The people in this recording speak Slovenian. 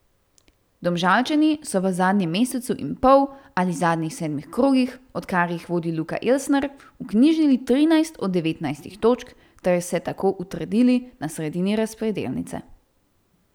Domžalčani so v zadnjem mesecu in pol ali zadnjih sedmih krogih, odkar jih vodi Luka Elsner, vknjižili trinajst od devetnajstih točk ter se tako utrdili na sredini razpredelnice.